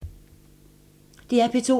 DR P2